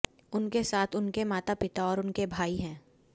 उनके साथ उनके माता पिता और उनके भाई हैं